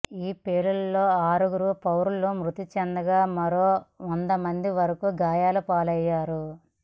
ఈ పేలుళ్లలో ఆరుగురు పౌరులు మృతిచెందగా మరో వందమంది వరకు గాయలపాలయ్యారు